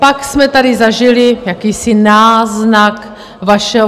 Pak jsme tady zažili jakýsi náznak vašeho...